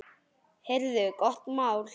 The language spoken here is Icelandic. Heyrðu, gott mál!